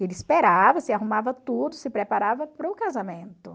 Ele esperava, se arrumava tudo, se preparava para o casamento.